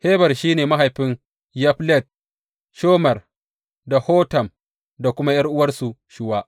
Heber shi ne mahaifin Yaflet, Shomer da Hotam da kuma ’yar’uwarsu Shuwa.